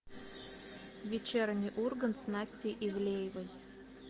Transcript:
вечерний ургант с настей ивлеевой